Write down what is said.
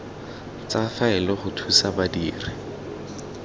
tsa faele go thusa badiri